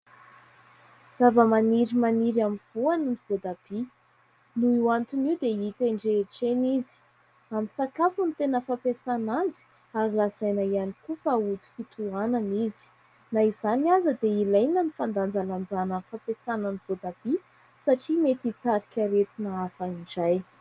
Zava-maniry maniry amin'ny voany ny voatabia. Noho io antony io dia hita eny rehetra eny izy. Amin' ny sakafo no tena fampiasana azy. Azo lazaina ihany koa fa ody fitohanana izy, na izany aza dia ilaina ny fandanjalanjana ny fampiasana ny voatabia satria mety hitarika aretina hafa indray.